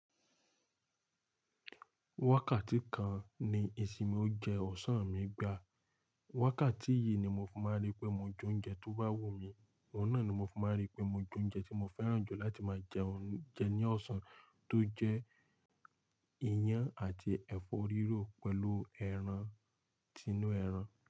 Wákàtí kan ni ìsinmi óunjẹ ọ̀sán mi gbá. Wákàtí yìí ni mo fi máa rí pé mo je oúnjẹ tó bá wù mí, oun náà ni mo fi máa rí pé mo je oúnjẹ tí mo fẹ́ràn jù láti máa jẹun jẹ ní ọ̀sán, tó jẹ ìyàn àti ẹ̀fọ́ rírò pẹ̀lú ẹran tinú ẹran.